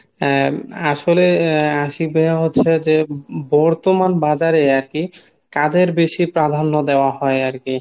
আহ আসলে আশিক ভাইয়া হচ্ছে যে বর্তমান বাজার এ আরকি কাদের বেশি প্রাধান্য দেওয়া হয় আরকি